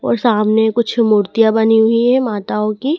और सामने कुछ मूर्तियां बनी हुई हैं माताओं की।